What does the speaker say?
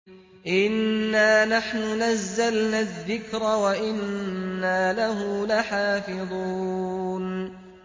إِنَّا نَحْنُ نَزَّلْنَا الذِّكْرَ وَإِنَّا لَهُ لَحَافِظُونَ